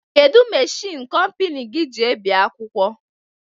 Kedụ machiin kompani gị ji ebi akwụkwọ?